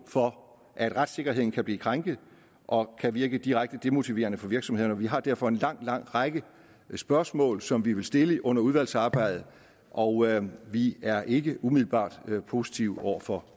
for at retssikkerheden kan blive krænket og kan virke direkte demotiverende for virksomhederne og vi har derfor en lang lang række spørgsmål som vi vil stille under udvalgsarbejdet og vi er ikke umiddelbart positive over for